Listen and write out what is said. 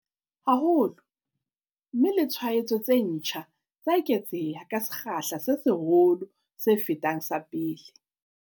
haholo, mme le tshwaetso tse ntjha tsa eketseha ka sekgahla se seholo se fetang sa pele.